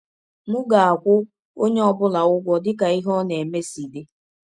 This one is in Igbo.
M ga - akwụ ọnye ọ bụla ụgwọ dị ka ihe ọ na - eme si dị.